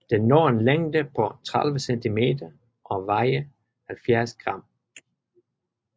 Den når en længde på 30 cm og vejer 70 g